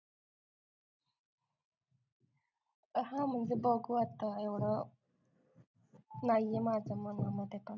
हो म्हणजे बघू वाटतं एवढं नाहीये माझ्या मनामध्ये